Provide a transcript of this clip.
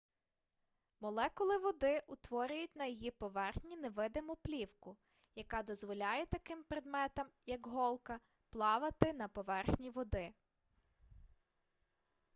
молекули води утворюють на її поверхні невидиму плівку яка дозволяє таким предметам як голка плавати на поверхні води